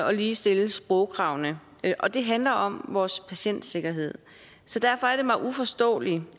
at ligestille sprogkravene og det handler om vores patientsikkerhed derfor er det mig uforståeligt